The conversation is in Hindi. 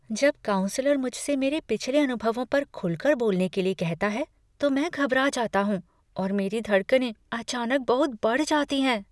जब काउन्सलर मुझसे मेरे पिछले अनुभवों पर खुलकर बोलने के लिए कहता है तो मैं घबरा जाता हूँ और मेरी धड़कनें अचानक बहुत बढ़ जाती हैं।